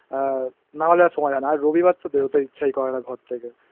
আ. নাহলে আর সময় হয় না আর রবিবার তো বেরতে ইচ্ছাই করে না ঘর থেকে